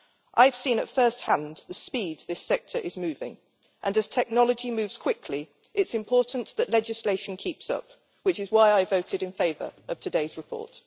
I have seen at first hand the speed this sector is moving, and as technology moves quickly it is important that legislation keeps up, which is why I voted in favour of today's report.